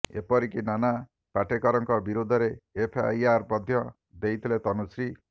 ଏପରିକି ନାନା ପାଟେକରଙ୍କ ବିରୋଧରେ ଏଫଆଇଆର୍ ମଧ୍ୟ ଦେଇଥିଲେ ତନୁଶ୍ରୀ